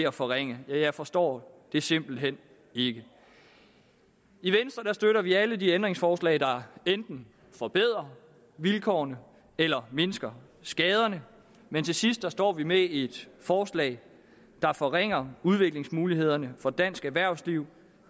at forringe jeg forstår det simpelt hen ikke i venstre støtter vi alle de ændringsforslag der enten forbedrer vilkårene eller mindsker skaderne men til sidst står vi med et forslag der forringer udviklingsmulighederne for dansk erhvervsliv